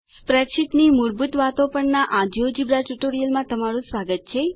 સ્પ્રેડશીટ્સની મૂળભૂત વાતો પરના આ જિયોજેબ્રા ટ્યુટોરીયલમાં તમારું સ્વાગત છે